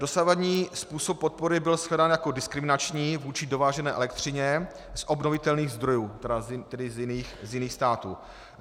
Dosavadní způsob podpory byl shledán jako diskriminační vůči dovážené elektřině z obnovitelných zdrojů, tedy z jiných států.